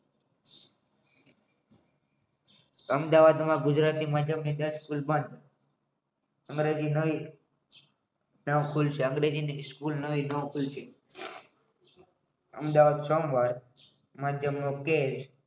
અમદાવાદમાં ગુજરાતી માધ્યમથી અંગ્રેજી સ્કૂલ નવી ખુલી છે અમદાવાદ સોમવાર માધ્યમનો